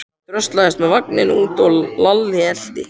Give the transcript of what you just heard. Hann dröslaðist með vagninn út og Lalli elti.